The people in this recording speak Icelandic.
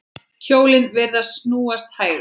Hjólin virðast snúast hægar.